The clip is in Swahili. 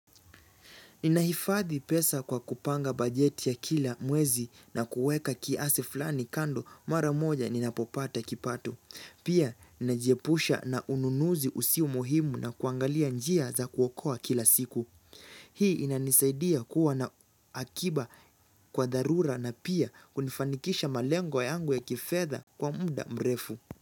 Ninahifadhi pesa kwa kupanga bajeti ya kila mwezi na kuweka kiasi fulani kando mara moja ninapopata kipato. Pia najiepusha na ununuzi usio muhimu na kuangalia njia za kuokoa kila siku. Hii inanisaidia kuwa na akiba kwa dharura na pia kunifanikisha malengo yangu ya kifedha kwa muda mrefu.